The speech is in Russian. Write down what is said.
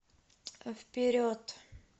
вперед